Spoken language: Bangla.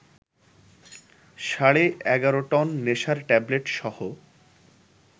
সাড়ে ১১ টন নেশার ট্যাবলেটসহ